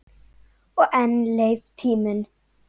Og enn leið tíminn.